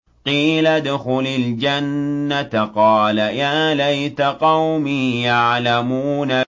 قِيلَ ادْخُلِ الْجَنَّةَ ۖ قَالَ يَا لَيْتَ قَوْمِي يَعْلَمُونَ